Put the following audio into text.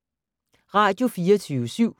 Radio24syv